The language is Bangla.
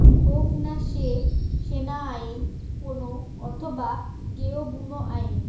হোক না সে সেনা আইন কোনো অথবা গেয়ো বুনো আইন